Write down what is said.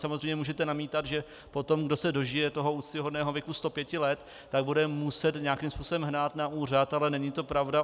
Samozřejmě můžete namítat, že potom kdo se dožije toho úctyhodného věku 105 let, tak bude muset nějakým způsobem hnát na úřad, ale není to pravda.